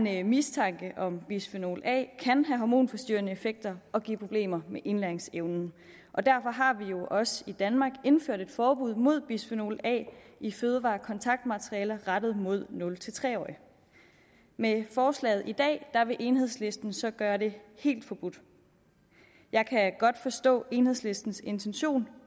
er en mistanke om at bisfenol a kan have hormonforstyrrende effekter og give problemer med indlæringsevnen derfor har vi jo også i danmark indført et forbud mod bisfenol a i fødevarekontaktmaterialer rettet mod nul tre årige med forslaget i dag vil enhedslisten så gøre det helt forbudt jeg kan godt forstå enhedslistens intention